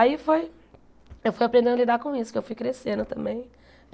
Aí foi, eu fui aprendendo a lidar com isso, que eu fui crescendo também.